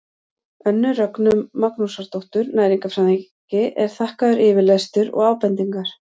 önnu rögnu magnúsardóttur næringarfræðingi er þakkaður yfirlestur og ábendingar